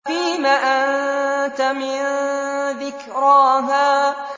فِيمَ أَنتَ مِن ذِكْرَاهَا